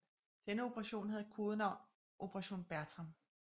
Denne operation havde kodenavn Operation Bertram